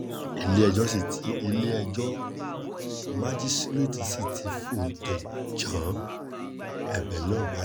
ilé-ẹjọ́ si ti ilé-ẹjọ́ májísréètì sì ti fóúntẹ̀ jan ẹ̀bẹ̀ náà bá